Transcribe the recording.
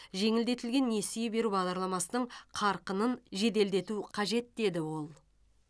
жеңілдетілген несие беру бағдарламасының қарқынын жеделдету қажет деді ол